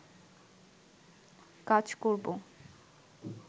কাজ করবো